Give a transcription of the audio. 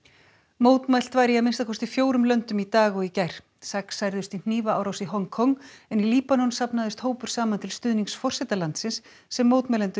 mótmælt var í að minnsta kosti fjórum löndum í dag og í gær sex særðust í hnífaárás í Hong Kong en í Líbanon safnaðist hópur saman til stuðnings forseta landsins sem mótmælendur